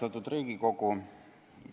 Austatud Riigikogu!